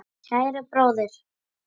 Kæri bróðir!